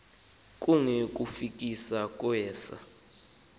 kunge kukufika kwesa